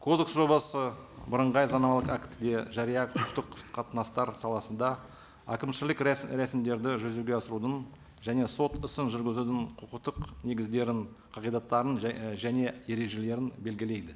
кодекс жобасы бірыңғай заңнамалық актіде жария құқықтық қатынастар саласында әкімшілік рәсімдерді жүзеге асырудың және сот ісін жүргізудің құқықтық негіздерін қағидаттарын і және ережелерін белгілейді